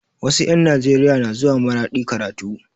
Wasu 'yan Nijeriya na zuwa maradi karatu